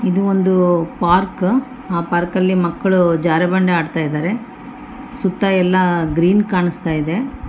ಇದು ಒಂದು ಪಾರ್ಕ್ ಆ ಪಾರ್ಕಲ್ಲಿ ಮಕ್ಕ್ಳು ಜಾರುಬಂಡಿ ಆಡ್ತಾ ಇದ್ದಾರೆ ಸುತ್ತ ಎಲ್ಲ ಗ್ರೀನ್ ಕಾಣ್ಸ್ತಾಇದೆ .